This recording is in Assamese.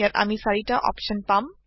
ইয়াত আমি চাৰিতা অপচন পাম